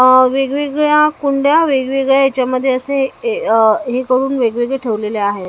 अ वेगवेगळ्या कुंड्या वेगवेगळ्या याच्यामध्ये असे ए अ ही करून वेगवेगळे ठेवलेले आहे.